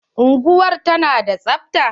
Unguwar ta na da tsabta?